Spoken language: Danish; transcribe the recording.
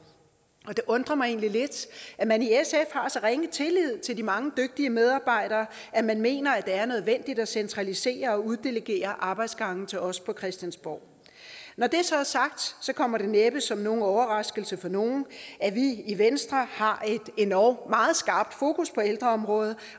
og det undrer mig egentlig lidt at man i sf har så ringe tillid til de mange dygtige medarbejdere at man mener at det er nødvendigt at centralisere og uddelegere arbejdsgange til os på christiansborg når det så er sagt kommer det næppe som nogen overraskelse for nogen at vi i venstre har et endog meget skarpt fokus på ældreområdet